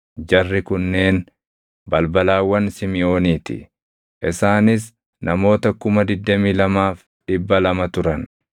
Jarri kunneen balbalawwan Simiʼoonii ti; isaanis namoota 22,200 turan.